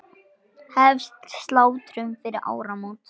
Hefst slátrun fyrir áramót.